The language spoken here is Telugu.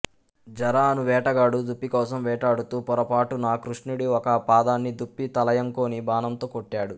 జర అను వేటగాడు దుప్పి కోసం వేటాడుతూ పొరపాటున కృష్ణుడి ఒక పాదాన్ని దుప్పి తలయంకొని బాణంతో కొట్టాడు